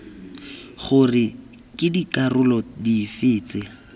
gore ke dikarolo dife tse